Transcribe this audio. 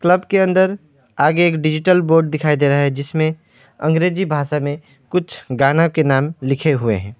Club के अंदर आगे एक डिजिटल बोर्ड दिखाई दे रहा है जिसमें अंग्रेजी भाषा में कुछ गाना के नाम लिखे हुए हैं।